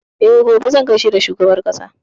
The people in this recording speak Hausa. E, gobe zan gaishe da shugaban ƙasa.